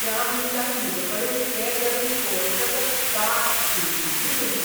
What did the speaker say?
त्या मनशान म्हजेकडेन ते तरेन पळयतकच कात शिरशिरली म्हजी.